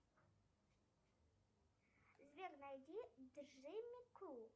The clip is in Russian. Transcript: сбер найди джимми кул